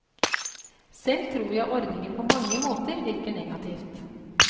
Selv tror jeg ordningen på mange måter virker negativt.